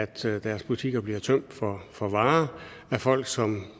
til at deres butikker bliver tømt for for varer af folk som